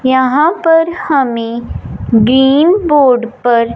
यहां पर हमे ग्रीन बोर्ड पर--